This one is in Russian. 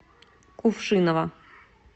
кувшиново